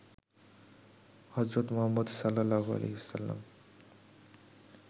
হজরত মুহাম্মদ সা.